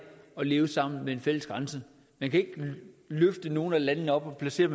at leve sammen med en fælles grænse man kan ikke løfte nogen af landene op og placere